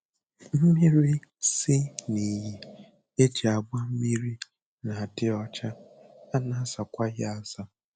Mmiri si n'iyi e ji agba mmiri na-adị ọcha, a na-azakwa ya aza